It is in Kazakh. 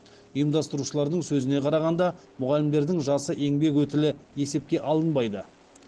ұйымдастырушылардың сөзіне қарағанда мұғалімдердің жасы еңбек өтілі есепке алынбайды